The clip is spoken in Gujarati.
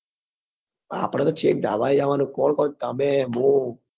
આપડે તો છેક ધાબા એ જવા નું કોણ કોણ તમે હું